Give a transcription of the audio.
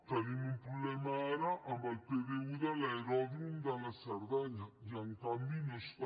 tenim un problema ara amb el pdu de l’aeròdrom de la cerdanya i en canvi no hi és